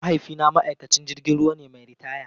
Mahaifina ma'aikacin jirgin ruwa ne mai ritaya.